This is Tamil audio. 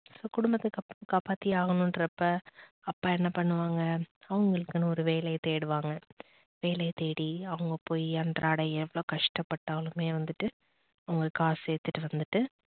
குடும்பத்தை காப்பாத்தியே ஆகணுன்றப்ப அப்பா என்ன பண்ணுவாங்க அவங்களுக்குன்னு ஒரு வேலையை தேடுவாங்க. வேலையை தேடி, அவங்க போய் அன்றாடையை எவ்வளவு கஷ்டப்பட்டாலுமே வந்துட்டு அவங்க காசு சேத்துட்டு வந்துட்டு